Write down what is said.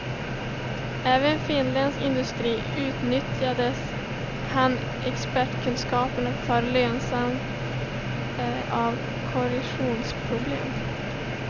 Även finländsk industri nyttjade hans expertkunskaper för lösandet av korrosionsproblem.